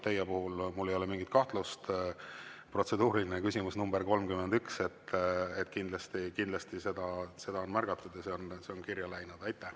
Teie puhul mul ei ole mingit kahtlust: protseduuriline küsimus nr 31, seda on kindlasti märgatud ja see on kirja läinud.